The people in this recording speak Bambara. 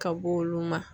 Ka b'o olu ma